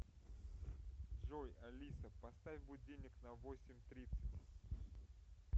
джой алиса поставь будильник на восемь тридцать